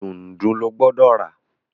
Dùndú ló gbódò rà!